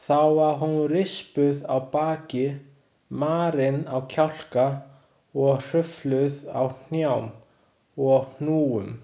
Þá var hún rispuð á baki, marin á kjálka og hrufluð á hnjám og hnúum.